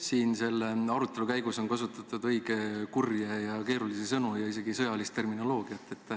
Siin selle arutelu käigus on kasutatud õige kurje ja keerulisi sõnu, isegi sõjandusterminoloogiat.